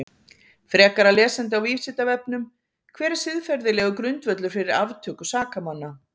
Frekara lesefni á Vísindavefnum: Hver er siðferðilegur grundvöllur fyrir aftöku sakamanna?